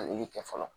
A yeli kɛ fɔlɔ